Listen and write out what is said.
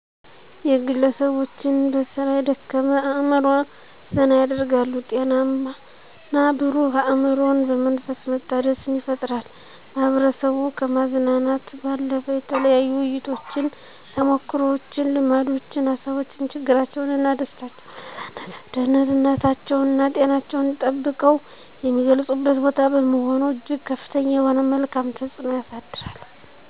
የግለሰቦችን በስራ የደከመ አእምሮ ዘና ያደርጋሉ፤ ጤናማና ብሩህ አእምሮን በመንፈስ መታደስን ይፈጥራል። ማህበረሰቡ ከማዝናናት ባለፈ የተለያዩ ውይይቶችን፣ ተሞክሮዎችን፣ ልምዶችን፣ ሀሳቦችን፣ ችግራቸውንና ደስታቸውን በነፃነት ደህንነታቸውና ጤናቸውን ጠብቀው የሚገልጹበት ቦታ በመሆኑ እጅግ ከፍተኛ የሆነ መልካም ተፅዕኖ ያሳድራል።